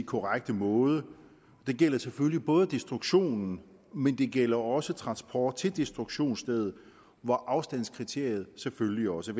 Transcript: korrekte måde det gælder selvfølgelig både destruktionen men det gælder også transporten til destruktionsstedet hvor afstandskriteriet selvfølgelig også